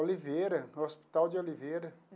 Oliveira, no Hospital de Oliveira.